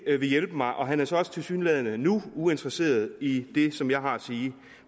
vil hjælpe mig og han er så også tilsyneladende nu uinteresseret i det som jeg har at sige